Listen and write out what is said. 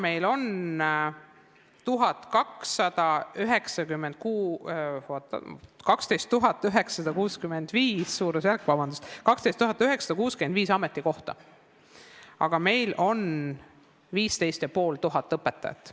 Meil on 12 965 ametikohta, aga 15 500 õpetajat.